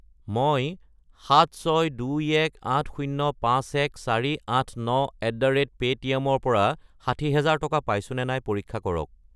মই 76218051489@paytm ৰ পৰা 60000 টকা পাইছোনে নাই পৰীক্ষা কৰক।